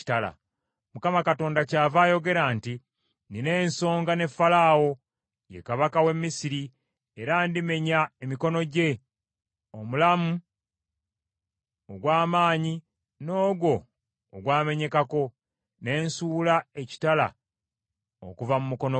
Mukama Katonda kyava ayogera nti, Nnina ensonga ne Falaawo, ye kabaka w’e Misiri, era ndimenya emikono gye, omulamu ogw’amaanyi n’ogwo ogwamenyekako, ne nsuula ekitala okuva mu mukono gwe.